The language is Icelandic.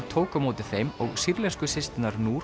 tók á móti þeim og sýrlensku systurnar